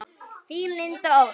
Þín, Linda Ósk.